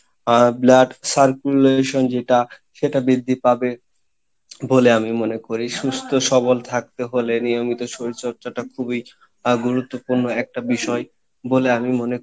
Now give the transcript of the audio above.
আমাদের আহ blood circulation যেটা সেটা বৃদ্ধি পাবে, বলে আমি মনে করি। সুস্থ সবল থাকতে হলে নিয়মিত শরীর চর্চাটা খুবই আহ গুরুত্বপূর্ণ একটা বিষয় বলে আমি মনে